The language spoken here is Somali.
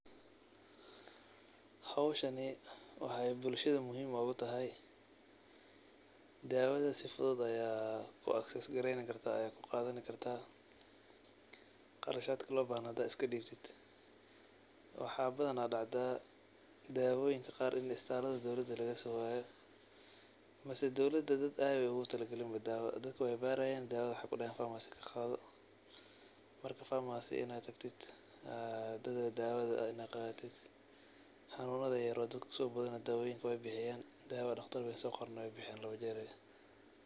Howshani waxa eey bulshada muhiim ogutahay, dawada sii fudud ayad acess gareyni karta oo ad kuqadani karta qarashad lobahna hada iskadibtid. Waxa badan dacda dawoyinka qar inii istalada dowlada lagasowayo mise dowlada ey ogutalagalin dadka oo wey kubarayin dawada wexey kudahayan farmasi kaqado marka farmasi in ad tagti oo dawada qadato waye xanunada yaryar oo dadka kusobodana dawoyinka wey bixiyan mida daqtar soqorena wey bixiyan.